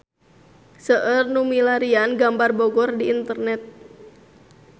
Seueur nu milarian gambar Bogor di internet